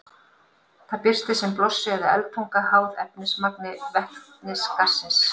Það birtist sem blossi eða eldtunga, háð efnismagni vetnisgassins.